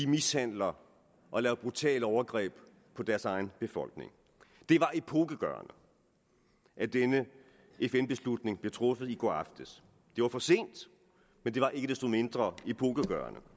mishandler og laver brutale overgreb på deres egen befolkning det var epokegørende at denne fn beslutning blev truffet i går aftes det var for sent men det var ikke desto mindre epokegørende